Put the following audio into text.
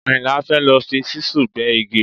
Àyìnlá fẹ́ lọ fi ṣíṣù gbẹ́ igi